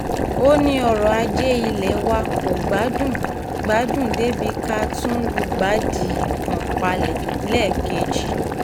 ó ní ọrọ̀ ajé ilé wa kò gbádùn gbádùn débìí ká tún lùgbàdì kọ́ńpàlélẹ́ẹ̀kejì